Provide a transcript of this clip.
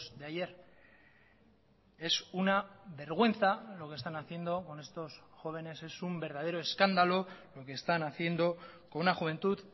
de ayer es una vergüenza lo que están haciendo con estos jóvenes es un verdadero escándalo lo que están haciendo con una juventud